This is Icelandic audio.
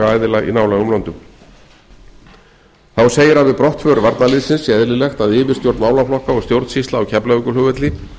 aðila í nálægum löndum þá segir að við brotthvarf varnarliðsins sé eðlilegt að yfirstjórn málaflokka og stjórnsýsla á keflavíkurflugvelli